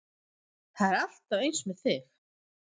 Það er alltaf eins með þig!